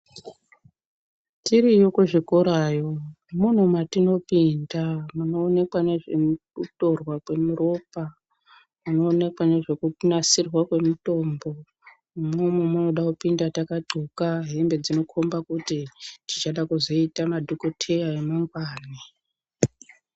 Tiriyo kuzvikorayo, mune matinopinda munoonekwa nezvekutorwa kweropa mune munoonekwa nezvekunasirwa kwemutombo. Imwomwo munoda kupinda takadxoka hembe dzinokomba kuti tichada kuzoita madhokoteya emangwani.